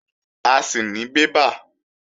A sì ní bébà